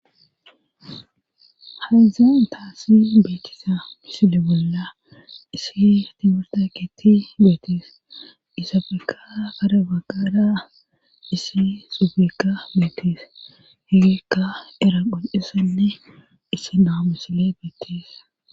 hazan taasi beetisa misile bolla issi timurta ketti beetis isa feka kara baggaada isi subekka beetis hegikka era qo7esanne isi naamu sile beettisa